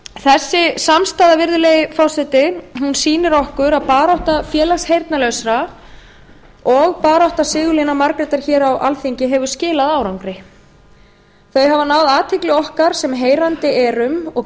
þessi samstaða virðulegi forseti sýnir okkur að barátta félags heyrnarlausra og barátta sigurlínar margrétar hér á alþingi hefur skilað árangri þau hafa náð athygli okkar sem heyrandi erum og